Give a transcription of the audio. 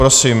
Prosím.